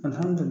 Alhammuduli